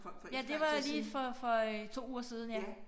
Ja det var lige for for øh 2 uger siden ja